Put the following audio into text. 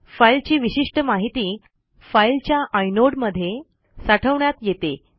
फाईलची विशिष्ट माहिती फाईलच्या आय नोड मध्ये साठवण्यात येते